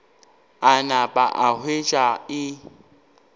a napa a hwetša e